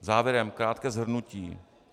Závěrem krátké shrnutí.